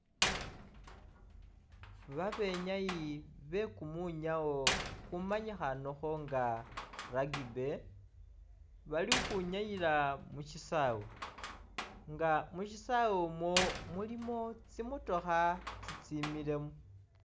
Babenyayi be kumwinyawo kumanyikhaanekho nga rugby, bali ukhwinyayila mu syisaawe nga mu syisaawe umwo mulimu tsimotokha tsitsimilemu.